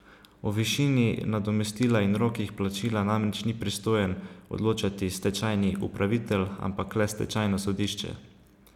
O višini nadomestila in rokih plačila namreč ni pristojen odločati stečajni upravitelj, ampak le stečajno sodišče.